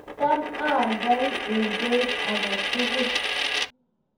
kitamaltaoi eng beit age tugul.